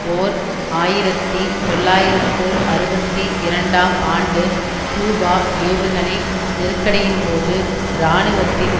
ஓர் ஆயிரத்தி தொள்ளாயிரத்து அறுபத்தி இரண்டாம் ஆண்டு கியூபா ஏவுகணை நெருக்கடியின்போது இராணுவத்தின்